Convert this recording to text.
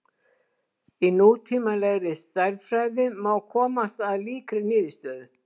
Í nútímalegri stærðfræði má komast að líkri niðurstöðu.